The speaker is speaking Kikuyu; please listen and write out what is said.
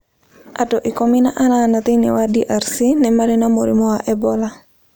Andũ ikũmi na anana thĩinĩ wa DRC nĩ marĩ na mũrimũ wa Ebola